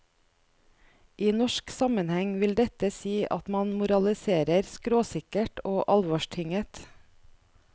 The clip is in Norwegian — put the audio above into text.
I norsk sammenheng vil dette si at man moraliserer skråsikkert og alvorstynget.